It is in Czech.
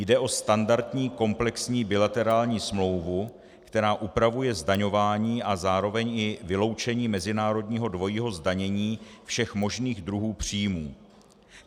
Jde o standardní komplexní bilaterální smlouvu, která upravuje zdaňování a zároveň i vyloučení mezinárodního dvojího zdanění všech možných druhů příjmů.